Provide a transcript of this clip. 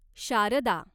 Sharda